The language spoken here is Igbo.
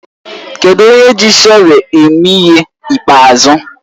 Kedụ onye ji shọvel eme ihe ịkpeazụ?